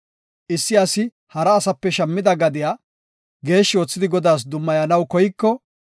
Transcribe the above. Issi asi hara asape shammida gadiya geeshshi oothidi Godaas dummayanaw koyiko,